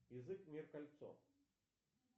язык мир кольцо